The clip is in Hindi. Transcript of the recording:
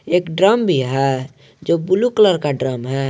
एक ड्रम भी है जो ब्लू कलर का ड्रम है।